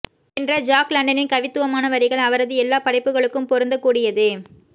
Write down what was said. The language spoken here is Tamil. என்ற ஜாக் லண்டனின் கவித்துவமான வரிகள் அவரது எல்லா படைப்புகளுக்கும் பொருந்தக்கூடியதே